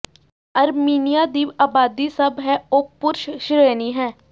Armenia ਦੀ ਆਬਾਦੀ ਸਭ ਹੈ ਉਹ ਪੁਰਸ਼ ਸ਼੍ਰੇਣੀ ਹੈ